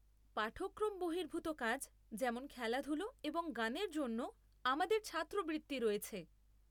পাঠক্রম বহির্ভূত কাজ যেমন খেলাধুলো এবং গানের জন্যেও আমাদের ছাত্রবৃত্তি রয়েছে।